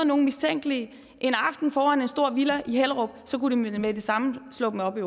nogle mistænkelige en aften foran en stor villa i hellerup kunne de med det samme slå dem op i